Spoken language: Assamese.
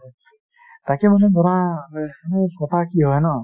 তাকে মানে ধৰা কথা কি হয় ন,